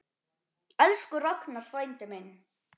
Elsku Ragnar frændi minn.